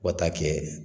Fo ka taa kɛ